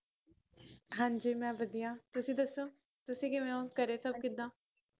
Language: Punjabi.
ਹਾਂਜੀ ਮੈ ਵਦੀਆ ਤੁਸੀ ਦਸੋ ਤੁਸੀ ਕਿਵੇਂ ਓ ਘਰੇ ਸਬ ਕਿੱਦਾ